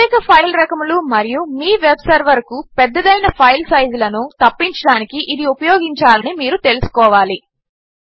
ప్రత్యేక ఫైల్ రకములు మరియు మీ వెబ్ సర్వర్కు పెద్దవైన ఫైల్ సైజులను తప్పించడానికి ఇది ఉపయోగించాలని మీరు తెలుసుకోవాలి